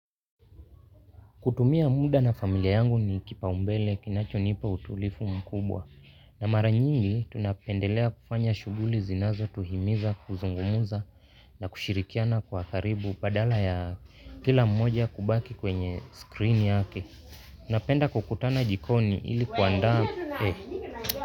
Kutumia muda na familia yangu ni kipaumbele kinachonipa utulifu mkubwa. Na mara nyingi, tunapendelea kufanya shughuli zinazo tuhimiza, kuzungumza na kushirikiana kwa karibu badala ya, kila mmoja kubaki kwenye screen yake. Napenda kukutana jikoni ili kuandaa.